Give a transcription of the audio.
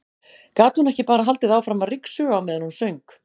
Gat hún ekki bara haldið áfram að ryksuga á meðan hún söng?